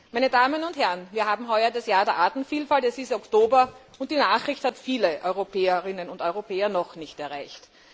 Meine Damen und Herren, wir haben heuer das Jahr der Artenvielfalt, es ist bereits Oktober, und diese Nachricht hat viele Europäerinnen und Europäer noch nicht erreicht.